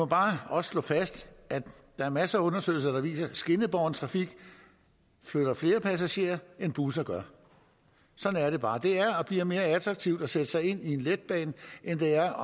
bare slå fast at der er masser af undersøgelser der viser at skinnebåren trafik flytter flere passagerer end busser gør sådan er det bare det er og bliver mere attraktivt at sætte sig ind i en letbane end det er